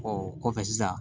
o kɔfɛ sisan